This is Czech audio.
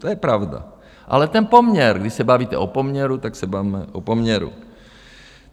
To je pravda, ale ten poměr, když se bavíte o poměru, tak se bavme o poměru.